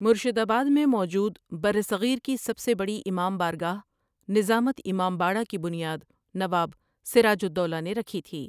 مرشد آباد میں موجود برصغیر کی سب سے بڑی امام بارگاہ، نظامت امام باڑہ کی بنیاد نواب سراج الدولہؒ نے رکھی تھی ۔